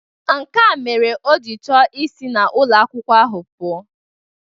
Nkea mere o ji chọọ isi n'ụlọ akwụkwọ ahụ pụọ.